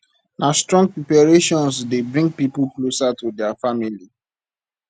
na strong preparations dey bring pipo closer for dia family